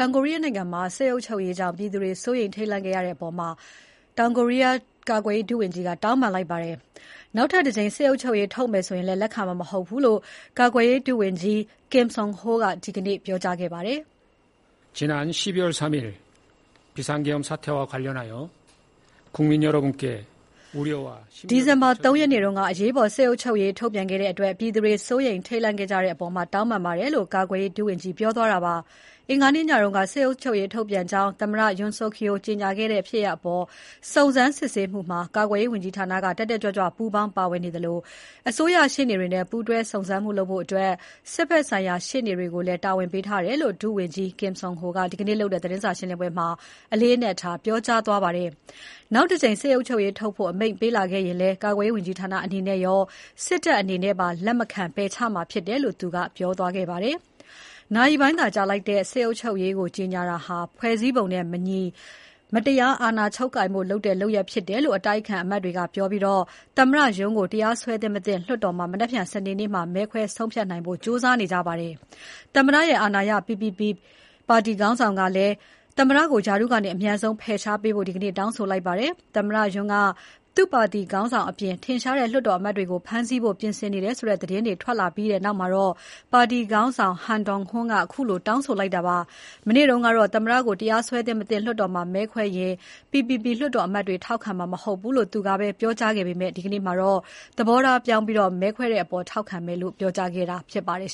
င်ကိုရီးယားနိုင်ငံမှာ စစ်အုပ်ချုပ်ရေးကြောင့် ပြည်သူတွေ စိုးရိမ်ခဲ့ရတဲ့အပေါ် ကာကွယ်ရေးဝန်ကြီးဌာနက တောင်းပန်လိုက်ပါတယ်။ နောက်ထပ်တကြိမ် စစ်အုပ်ချုပ်ရေးထုတ်မယ်ဆိုရင် လက်ခံမှာ မဟုတ်ဘူးလို့လည်း ယာယီ ကာကွယ်ရေးဝန်ကြီး Kim Seon Ho က ဒီနေ့ပြောကြားခဲ့ပါတယ်။ ဒီဇင်ဘာ ၃ ရက်နေ့က အရေးပေါ် စစ်အုပ်ချုပ်ရေးထုတ်ပြန်ခဲ့တဲ့အတွက် ပြည်သူတွေ စိုးရိမ်ထိတ်လန့် ခဲ့ကြတဲ့အပေါ်တောင်းပန်ပါတယ်လို့ ယာယီဝန်ကြီးက ပြောသွားတာပါ။ အင်္ဂါနေ့ညက စစ်အုပ်ချုပ်ရေးထုတ်ပြန်ကြောင်းသမ္မတ Yoon Suk Yeol ကြေညာခဲ့တဲ့ ဖြစ်ရပ်အပေါ် စုံစမ်းစစ်ဆေး မှုမှာ ကာကွယ်ရေးဝန်ကြီးဌာနက တက်တက်ကြွကြွပူးပေါင်း ပါဝင်နေသလို အစိုးရရှေ့နေတွေနဲ့ ပူးတွဲစုံစမ်းမှုလုပ်ဖို့ စစ်ဘက်ဆိုင်ရာ ရှေ့နေတွေကိုလည်း တာဝန်ပေးထားတယ်လို့ ယာယီ ဝန်ကြီး Kim Seon Ho က ဒီနေ့လုပ်တဲ့ သတင်းစာရှင်းပွဲမှာ အလေးအနက်ထား ပြောကြားသွားပါတယ်။ နောက်တကြိမ် စစ်အုပ်ချုပ်ရေးထုတ်ဖို့ အမိန့်ပေးလာခဲ့ရင်လည်း ကာကွယ်ရေးဝန်ကြီးဌာနအနေနဲ့ရော စစ်တပ်အနေနဲ့ပါ လက်မခံ ပယ်ချမှာဖြစ်တယ်လို့ သူက ပြောကြားသွားခဲ့ပါတယ်။ နာရီပိုင်းသာကြာလိုက်တဲ့ စစ်အုပ်ချုပ်ရေးကို ကြေညာတာဟာ ဖွဲ့စည်းပုံနဲ့ မညီ၊ မတရားသဖြင့် အာဏာချုပ်ကိုင်ဖို့လုပ်တဲ့ လုပ်ရပ်ဖြစ်တယ်လို့ အတိုက်အခံအမတ်တွေကပြောပြီး သမ္မတ Yoon ကိုတရားစွဲသင့်မသင့် လွှတ်တော်မှာ နက်ဖြန်စနေနေကျရင် မဲခွဲဆုံးဖြတ်နိုင်ဖို့ ကြိုးစားနေကြပါတယ်။ သမ္မတရဲ့ အာဏာရ PPP ပါတီခေါင်းဆောင်ကလည်း သမ္မတကို ရာထူးကနေ အမြန်ဆုံး ဖယ်ရှားပေးဖို့ ဒီနေ့ တောင်းဆိုလိုက်ပါတယ်။ သမ္မတ Yoon က သူ့ပါတီခေါင်းဆောင်အပြင် ထင်ရှားတဲ့လွှတ်တော်အမတ်တွေကို ဖမ်းဆီးဖို့ ပြင်ဆင်နေတဲ့ဆိုတဲ့သတင်းတွေထွက်လာပြီးနောက်မှာ ပါတီခေါင်းဆောင် Han Dong-hoon ကခုလို တောင်းဆိုလိုက်တာပါ။ မနေ့ကတော့သမ္မတကို တရားစွဲသင့် မသင့် လွှတ်တော်မှာ မဲခွဲရင် PPP လွှတ်တော်အမတ်တွေ ထောက်ခံမှာမဟုတ်ဘူးလို့ သူကပဲပြောကြားခဲ့ပေမဲ့ ဒီနေ့မှာတော့ သဘောထားပြောင်းပြီး မဲခွဲတဲ့အပေါ် ထောက်ခံမယ်လို့ ပြောကြားခဲ့တာြဖစ်ပါတယ်